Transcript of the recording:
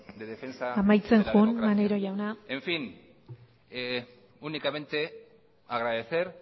de defensa de la democracia amaitzen joan maneiro jauna en fin únicamente agradecer